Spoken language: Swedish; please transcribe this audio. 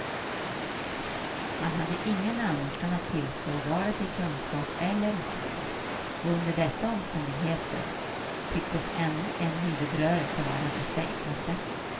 Han hade ingen önskan att tillstå vare sig kunskap eller okunskap, och under dessa omständigheter tycktes ännu en huvudrörelse vara det säkraste.